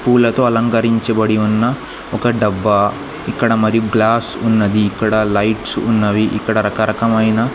పూలతో అలంకరించబడి ఉన్న ఒక డబ్బా ఇక్కడ మరి గ్లాస్ ఉన్నది ఇక్కడ లైట్స్ ఉన్నవి ఇక్కడ రకరకమైన.